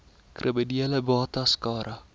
kriminele bates cara